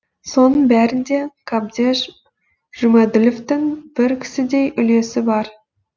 соның бәрінде қабдеш жұмаділовтің бір кісідей үлесі бар